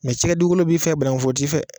Mɛ cikɛ dugukolo b'i fɛ, banankun foro t'i fɛ.